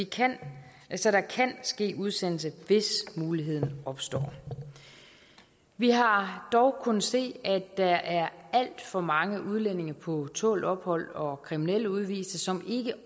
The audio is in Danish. kan ske udsendelse hvis muligheden opstår vi har dog kunnet se at der er alt for mange udlændinge på tålt ophold og kriminelle udviste som